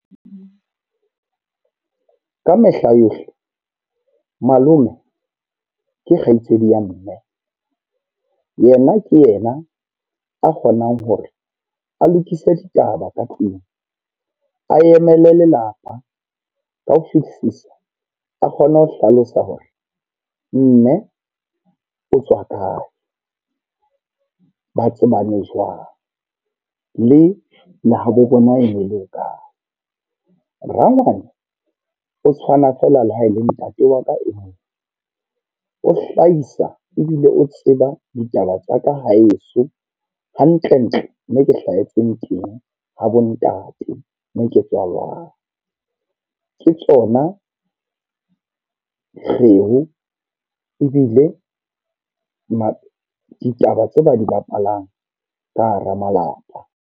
Ka mehla yohle, malome ke kgaitsedi ya mme. Yena ke ena a kgonang hore a lokise ditaba ka tlung. A emele lelapa ka ho fihlisa, a kgone ho hlalosa hore mme o tswa kae. Ba tsebane jwang, le le habo bona e ne le ho kae. Rangwane o tshwana feela le ha e le ntate wa ka e mong. O hlahisa ebile o tseba ditaba tsa ka ha heso, hantle-ntle me ke hlahetseng teng, ha bo ntate mme ke tswalang. Ke tsona kgeo, ebile ba ditaba tseo ba di bapalang ka hara malapa.